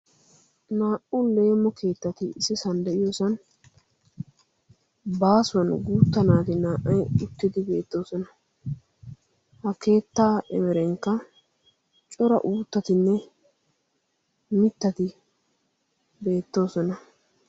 Naa"u leemo keettati issisaan de'iyoosan baasuwaan guutta naati naa"ay uttidi beettoosna. ha keettaa emerenikka cora uttattinne mittatti beettoosona.